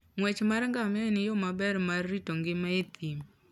Ng'wech mar ngamia en yo maber mar rito ngima e thim.